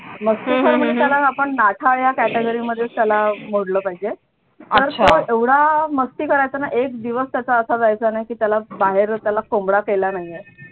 मस्तीखोर म्हणजेच त्याला आपण नाठाळ या category मध्ये त्याला मोडलं पाहिजे तर तो एवढा मस्ती करायचा ना एक दिवस त्याचा असा जायचा नाही की त्याला बाहेर त्याला कोंबडा केला नाहीये.